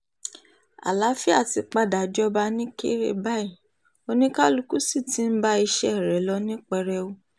àlàáfíà ti padà jọba nìkéré báyìí oníkálùkù sì ti ń bá iṣẹ́ rẹ̀ lọ ní pẹrẹu